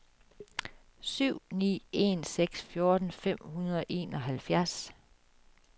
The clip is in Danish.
syv ni en seks fjorten fem hundrede og enoghalvfjerds